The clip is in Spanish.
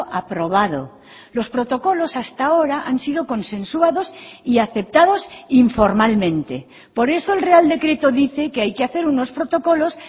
aprobado los protocolos hasta ahora han sido consensuados y aceptados informalmente por eso el real decreto dice que hay que hacer unos protocolos